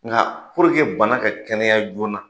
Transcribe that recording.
Nka banna ka kɛnɛya joona na.